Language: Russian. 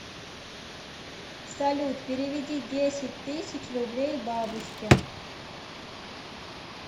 салют переведи десять тысяч рублей бабушке